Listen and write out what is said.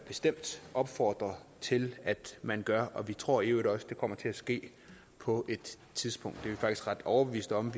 bestemt opfordre til at man gør og vi tror i øvrigt også at det kommer til at ske på et tidspunkt vi faktisk ret overbeviste om